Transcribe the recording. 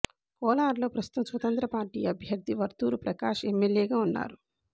కోలారులో ప్రస్తుతం స్వతంత్ర పార్టీ అభ్యర్థి వర్తూరు ప్రకాష్ ఎమ్మెల్యేగా ఉన్నారు